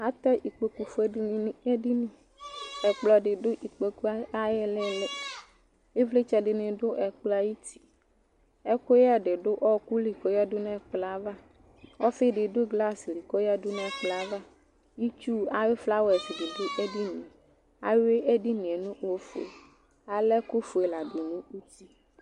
Atɛ ikpoku fuele dini nu edini ɛkplɔ di du ikpoku ayu ili ivlitsɛ di ni du ɛkplɔ ayuti ɛkuyɛ di du ɔku li koyadu nu ɛkplɔava ofi di du glasi ku oyadu nu ɛkplɔ ava itsu ayu flawa dibi du ɛkplɔ ava ayui edinie nu ofue ala ɛku fue ladu nu uti